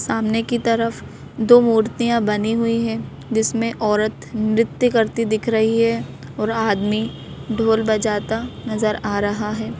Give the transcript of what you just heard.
सामने की तरफ दो मूर्तियां बनी हुई हैं जिसमें औरत नृत्य करती दिख रही है और आदमी ढोल बजाता नजर आ रहा है।